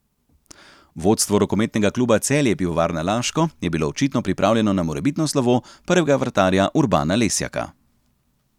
Vodstvo rokometnega kluba Celje Pivovarna Laško je bilo očitno pripravljeno na morebitno slovo prvega vratarja Urbana Lesjaka.